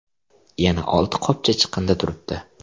Yana olti qopcha chiqindi turibdi.